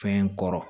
Fɛn kɔrɔ